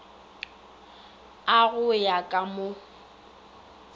a go ya ka mo